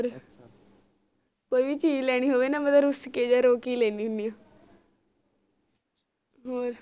ਕੋਈ ਵੀ ਚੀਜ਼ ਲੈਣੀ ਹੋਵੇ ਨਾ ਮੈਂ ਤਾ ਰੁਸ ਕੇ ਜਾ ਰੋ ਕੇ ਲੈਣੀ ਹੁੰਦੀ ਹੋਰ